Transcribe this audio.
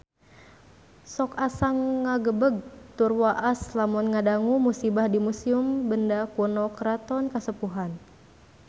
Sok asa ngagebeg tur waas lamun ngadangu musibah di Museum Benda Kuno Keraton Kasepuhan